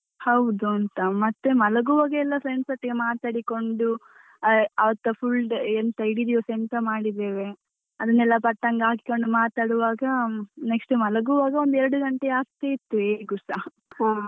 ಹೌದುಂತ ಮತ್ತೆ ಮಲಗುವಾಗೆಲ್ಲ friends ಒಟ್ಟಿಗೆ ಮಾತಾಡಿಕೊಂಡು full day ಎಂತ ಇಡೀ ದಿವಸ ಎಂತ ಮಾಡಿದ್ದೇವೆ ಅದನ್ನೆಲ್ಲ ಪಟ್ಟಾಂಗ ಹಾಕಿಕೊಂಡು ಮಾತಾಡುವಾಗ next ಮಲಗುವಾಗ ಒಂದು ಎರಡು ಗಂಟೆ ಆಗ್ತಾ ಇತ್ತು ಹೇಗುಸ.